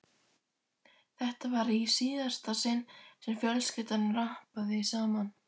Þetta var í síðasta sinn sem fjölskyldan rabbaði saman.